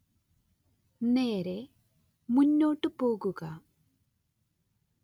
നേരേ മുന്നോട്ട് പോകുക